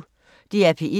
DR P1